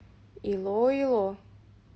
илоило